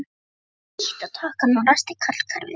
Ég ýtti á takkann og ræsti kallkerfið.